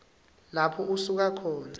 lapho usuka khona